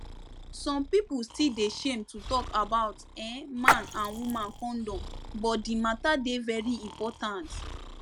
some pipu still dey shame to talk about[um]man and woman condom but di matter dey very important